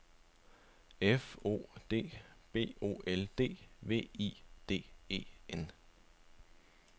F O D B O L D V I D E N